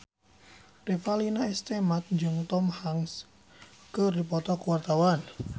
Revalina S. Temat jeung Tom Hanks keur dipoto ku wartawan